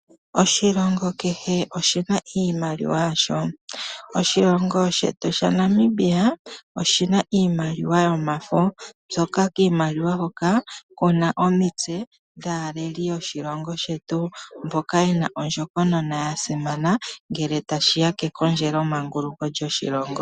Oshilongo kehe oshina iimaliwa yasho. Oshilongo shetu Namibia, oshina iimaliwa yomafo, myoka kiimaliwa hoka, kuta omitse dhaaleli yoshilongo sheutu